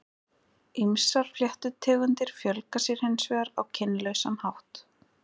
Ýmsar fléttutegundir fjölga sér hins vegar á kynlausan hátt.